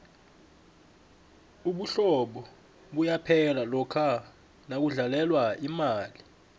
ubuhlobo buyaphela lokha nakudlalelwa imali